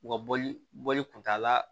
U ka bɔli bɔli kunta la